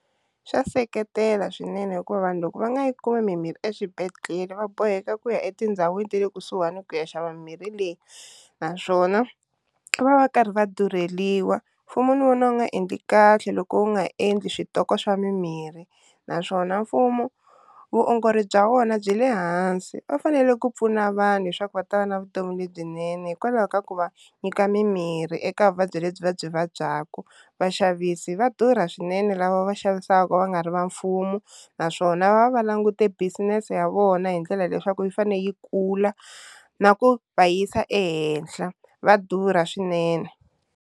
Swa seketela swinene hikuva vanhu loko va nga yi kumi mimirhi eswibedhlele va boheka ku ya etindhawini ta le kusuhani ku ya xava mimirhi leyi naswona va va va karhi va durheliwa, mfumo ni wo na wu nga endli kahle loko wu nga endli switoko swa mimirhi naswona mfumo vuongori bya vona byi le hansi, va fanele ku pfuna vanhu leswaku va ta va na vutomi lebyinene hikwalaho ka ku va nyika mimirhi eka vuvabyi lebyi va byi vabyaku, vaxavisi va durha swinene lava va xavisaka va nga ri va mfumo naswona va va va langute business ya vona hi ndlela leswaku yi fanele yi kula na ku va yisa ehenhla va durha swinene.